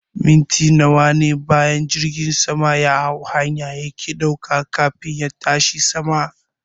Mintina nawane bayan jirgin sama yahau hanya yake ɗauka kafin ya tashi sama